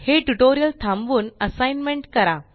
हे ट्यूटोरियल थांबवून असाइनमेंट करा